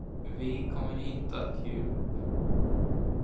Vi kommer inte att ge upp.